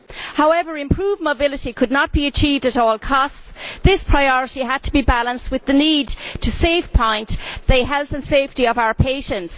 However, improved mobility could not be achieved at all costs. This priority had to be balanced with the need to safeguard the health and safety of our patients.